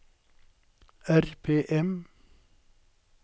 RPM